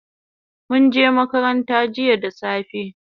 Munje makaranta jiya da safe